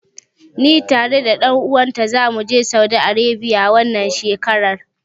Ni tare da ɗan uwan ta zamu je Saudi Arebiya, wannan shekarar.